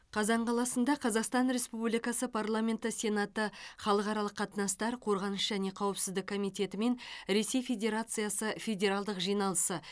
қазан қаласында қазақстан республикасы парламенті сенаты халықаралық қатынастар қорғаныс және қауіпсіздік комитеті мен ресей федерациясы федералдық жиналысы